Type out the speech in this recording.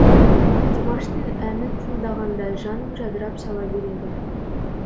димаштың әнін тыңдағанда жаным жадырап сала береді